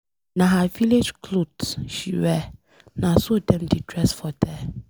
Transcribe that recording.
Na her village cloth she wear. Na so dem dey dress for there.